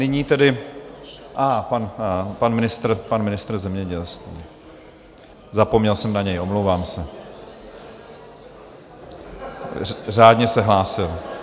Nyní tedy - aha, pan ministr, pan ministr zemědělství, zapomněl jsem na něj, omlouvám se, řádně se hlásil.